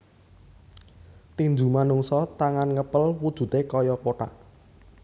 Tinju Manungsa tangan ngepel wujude kaya kotak